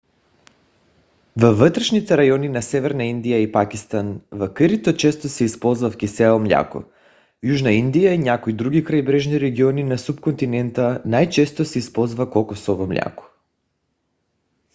във вътрешните райони на северна индия и пакистан в кърито често се използав кисело мляко; в южна индия и някои други крайбрежни региони на субконтинента най-често се използва кокосово мляко